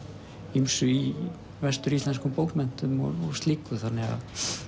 ýmsu í vestur íslenskum bókmenntum og slíku þannig að